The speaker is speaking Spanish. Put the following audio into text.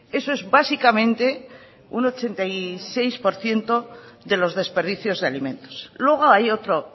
eso es básicamente un ochenta y seis por ciento de los desperdicios de alimentos luego hay otro